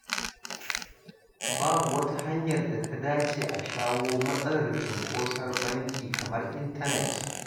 Babu wata hanyar da ta dace a shawo matsalar cinkoson banki kamar intanet